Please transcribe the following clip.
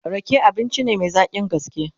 Rake abinci ne Mai zaƙin gaske